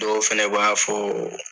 Dɔw fɛnɛ b'a fɔ